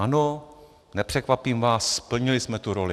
Ano, nepřekvapím vás, splnili jsme tu roli.